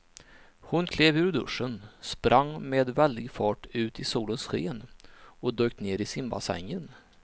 Hon klev ur duschen, sprang med väldig fart ut i solens sken och dök ner i simbassängen.